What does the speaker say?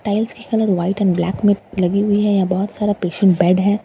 tiles के colour white and black में लगे हुए हैं यहाँ बहुत सारा पेशेंट बेड हैं --